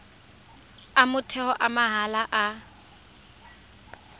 a motheo a mahala a